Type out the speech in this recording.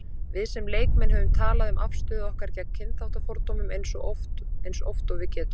Við sem leikmenn höfum talað um afstöðu okkar gegn kynþáttafordómum eins oft og við getum.